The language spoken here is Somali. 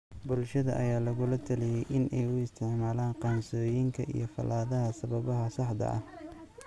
Bulshada ayaa lagula taliyay in ay uu isticmaalaan qaansooyinka iyo falaadhaha sababaha saxda ah.